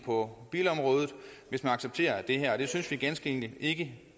på bilområdet hvis man accepterer det her og det synes vi ganske enkelt ikke